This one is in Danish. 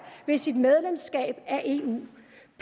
ved sit medlemskab af gøre en